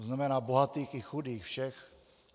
To znamená bohatých i chudých, všech.